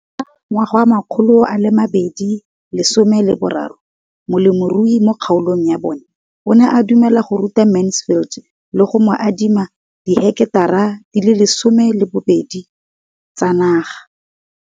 Ka ngwaga wa 2013, molemirui mo kgaolong ya bona o ne a dumela go ruta Mansfield le go mo adima di heketara di le 12 tsa naga.